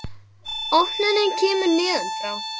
Opnunin kemur neðan frá.